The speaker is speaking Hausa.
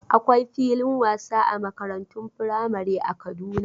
Akwai filin wasa a makarantun firamare a Kaduna.